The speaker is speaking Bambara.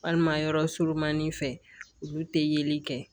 Walima yɔrɔ surunmanin fɛ olu tɛ yeli kɛ